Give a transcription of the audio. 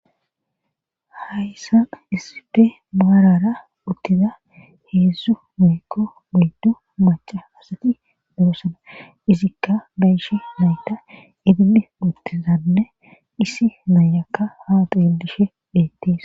hayssa issife maarara uttiza heedzdzu muykko muyddo maca asati berosana izikka bayishe nayta idilli muttizanne issi naayakka haaxidishe deetties